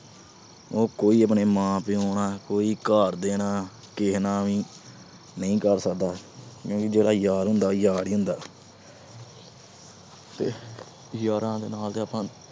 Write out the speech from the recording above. ਉਹ ਕੋਈ ਆਪਣੇ ਮਾਂ-ਪਿਓ ਨਾਲ, ਕੋਈ ਆਪਣੇ ਘਰਦਿਆਂ ਨਾਲ, ਕਿਸੇ ਨਾਲ ਵੀ ਨਹੀਂ ਕਰ ਸਕਦਾ ਕਿਉਂਕਿ ਜਿਹੜਾ ਯਾਰ ਹੁੰਦਾ, ਓ ਯਾਰ ਈ ਹੁੰਦਾ। ਤੇ ਯਾਰਾਂ ਦੇ ਨਾਲ ਤਾਂ ਆਪਾ